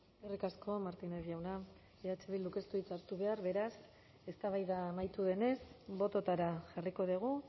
eskerrik asko martínez jauna eh bilduk ez du hitzik hartu behar beraz eztabaida amaitu denez bototara jarriko dugu